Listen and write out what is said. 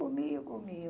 Comiam, comiam.